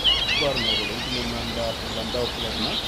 Iporu ne kole itinye miondap Landau Kleffner syndrome?